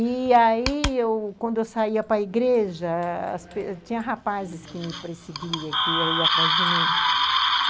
E aí, quando eu saía para a igreja, tinha rapazes que me perseguiam, que iam atrás de mim.